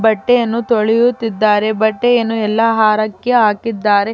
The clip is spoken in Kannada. ಬಟ್ಟೆಯನ್ನು ತೊಳೆಯುತ್ತಿದ್ದಾರೆ ಬಟ್ಟೆಯನ್ನು ಎಲ್ಲಾ ಹಾರಕ್ಕೆ ಹಾಕಿದ್ದಾರೆ.